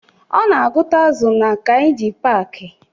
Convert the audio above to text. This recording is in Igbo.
Ọ na-agụta azụ na Kainji paaki